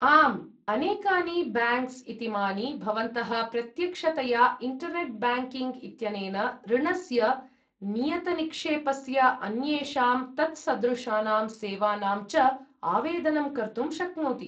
आम्, अनेकानि ब्याङ्क्स् इतीमानि भवन्तः प्रत्यक्षतया इण्टर्नेट् ब्याङ्किङ्ग् इत्यनेन ऋणस्य, नियतनिक्षेपस्य, अन्येषां तत्सदृशानां सेवानां च आवेदनं कर्तुं शक्नोति।